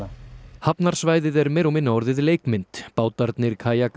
hafnarsvæðið er meira og minna orðið leikmynd bátarnir